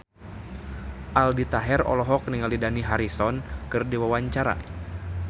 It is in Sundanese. Aldi Taher olohok ningali Dani Harrison keur diwawancara